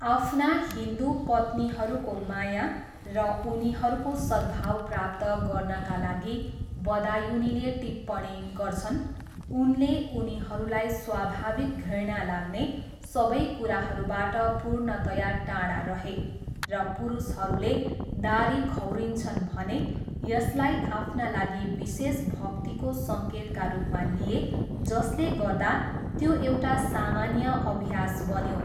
आफ्ना हिन्दु पत्नीहरूको माया र उनीहरूको सद्भाव प्राप्त गर्नाका लागि, बदायुनीले टिप्पणी गर्छन्, उनले उनीहरूलाई स्वाभाविक घृणा लाग्ने सबै कुराहरूबाट पूर्णतया टाढा रहे र पुरुषहरूले दाह्री खौरिन्छन् भने, यसलाई आफ्ना लागि विशेष भक्तिको सङ्केतका रूपमा लिए जसले गर्दा त्यो एउटा सामान्य अभ्यास बन्यो।